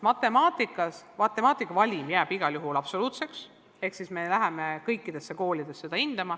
Matemaatika puhul jääb valim igal juhul absoluutseks ehk me läheme seda hindama kõikidesse koolidesse.